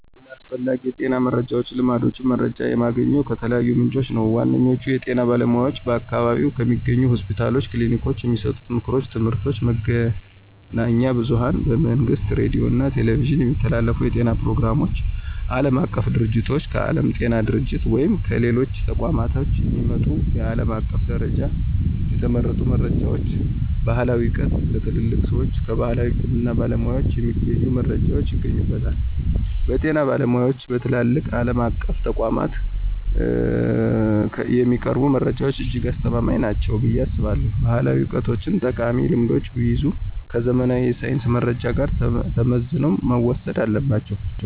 ስለ አስፈላጊ የጤና መረጃዎችና ልማዶች መረጃ የማገኘው ከተለያዩ ምንጮች ነው። ዋነኛዎቹ፦ የጤና ባለሙያዎች በአካባቢው ከሚገኙ ሆስፒታሎችና ክሊኒኮች የሚሰጡ ምክሮችና ትምህርቶች፣ መገናኛ ብዙኃን በመንግሥት ሬዲዮና ቴሌቪዥን የሚተላለፉ የጤና ፕሮግራሞች፣ ዓለም አቀፍ ድርጅቶች: ከዓለም ጤና ድርጅት ወይም ከሌሎች ተቋማት የሚመጡ በዓለም አቀፍ ደረጃ የተረጋገጡ መረጃዎች፣ ባሕላዊ ዕውቀት: ከትልልቅ ሰዎችና ከባሕላዊ የሕክምና ባለሙያዎች የሚገኙ መረጃዎች ይገኙበታል። በጤና ባለሙያዎችና በትላልቅ ዓለም አቀፍ ተቋማት የሚቀርቡ መረጃዎች እጅግ አስተማማኝ ናቸው ብዬ አስባለሁ። ባሕላዊ ዕውቀቶችም ጠቃሚ ልምዶችን ቢይዙም፣ ከዘመናዊ የሳይንስ መረጃ ጋር ተመዝነው መወሰድ አለባቸው።